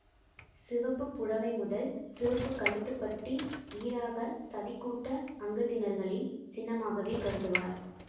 சிவப்புப் புடவை முதல் சிவப்பு கழுத்துப்பட்டி ஈறாக சதிக்கூட்ட அங்கத்தினர்களின் சின்னமாகவே கருதுவார்